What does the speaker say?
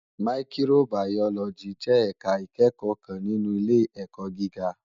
Màyíkróbàyólòjí jè èká ikèékò kán ninú ilé èkò gigá